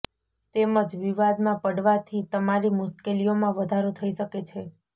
તેમજ વિવાદમાં પડવાથી તમારી મુશ્કેલીઓમાં વધારો થઈ શકે છે